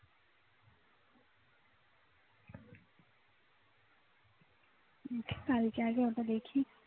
কালকে আগে ওটা দেখি